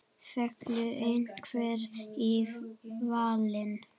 Fellur einhver í valinn?